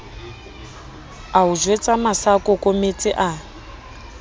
a o jwetsa masaakokometse a